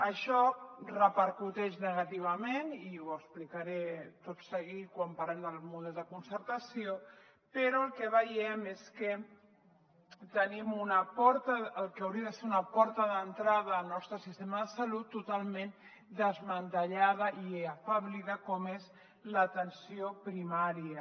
això repercuteix negativament i ho explicaré tot seguit quan parlem del model de concertació però el que veiem és que tenim el que hauria de ser una porta d’entrada al nostre sistema de salut totalment desmantellada i afeblida com és l’atenció primària